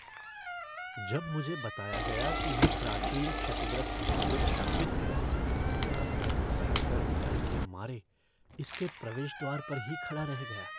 जब मुझे बताया गया कि यह प्राचीन क्षतिग्रस्त मंदिर शापित है तब मैं घबरा कर डर के मारे इसके प्रवेश द्वार पर ही खड़ा रह गया।